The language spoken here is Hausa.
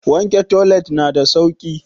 Wanke toilet na da sauki.